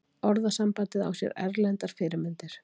orðasambandið á sér erlendar fyrirmyndir